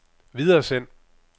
videresend